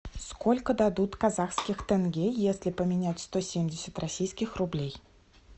сколько дадут казахских тенге если поменять сто семьдесят российских рублей